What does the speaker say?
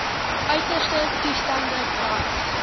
uiterste toestande brand